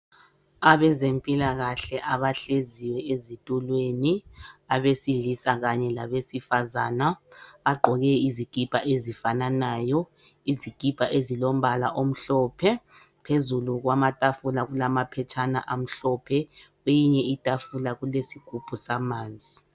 Abezempilakahle abahleziyo ezitulweni abesilisa kanye labesifazana bagqoke izikipa ezifananayo izikipa ezilombala omhlophe. Phezulu kwamatafula kulamaphetshana amhlophe kweyinye itafula kulesigubhu samanzi.